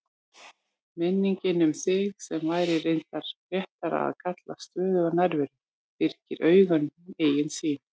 Minningin um þig, sem væri reyndar réttara að kalla stöðuga nærveru, byrgir auganu eigin sýn.